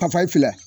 Payi fila